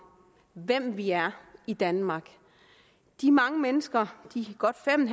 hvem vi er i danmark de mange mennesker de godt fem